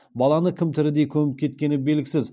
баланы кім тірідей көміп кеткені белгісіз